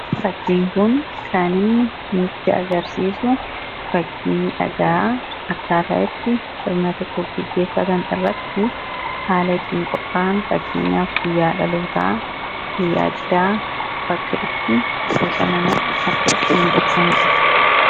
Fakkiin kun kan inni nutti agarsiisu fakkii dhagaa akkaataa itti sirna tokko gaggeeffatan irratti akkaataa itti qophaa'an fakkeenyaaf guyya dhalootaa, guyyaa cidhaa bakka itti bashannanaaf akka itti miidhagsanidha.